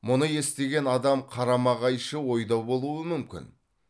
мұны естіген адам қарама қайшы ойда болуы мүмкін